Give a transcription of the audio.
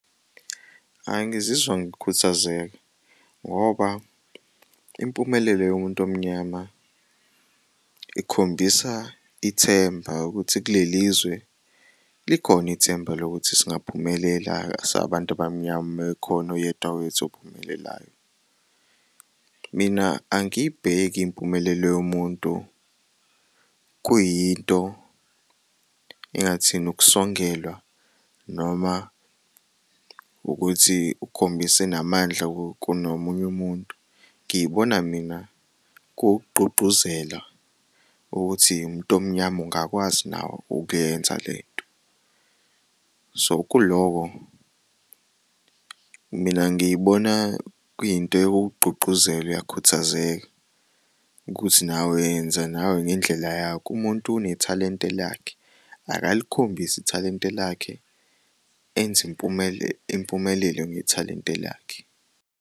Ayi, ngizizwa ngikhuthazeka ngoba impumelelo yomuntu omnyama ikhombisa ithemba ukuthi kulelizwe likhona ithemba lokuthi singaphumelela singabantu abamnyama mekhona oyedwa kwethu ophumelelayo. Mina angibheki impumelelo yomuntu kuyinto engathini ukusongelwa noma ukuthi ukhombise enamandla kunomunye umuntu ngiyibona mina kuwuk'gqugquzela ukuthi uwumuntu omnyama ungakwazi nawe ukuyenza lento, so kuloko mina ngiyibona kuyinto yokukugqugquzela, uyakhuthazeka ukuthi nawe yenza nawe ngendlela yakho. Umuntu unethalente lakhe, akalikhombise ithalente lakhe enze impumelelo ngethalente lakhe.